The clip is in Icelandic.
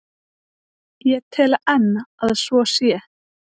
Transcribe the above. Ég tel enn að svo sé.